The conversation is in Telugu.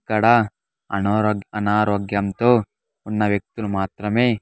ఇక్కడ అనారో-- ఆనారోగ్యంతో ఉన్న వ్యక్తులు మాత్రమే.